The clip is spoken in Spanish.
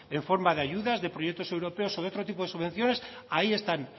en forma de ayudas de proyectos europeos o de otro tipo de subvenciones ahí están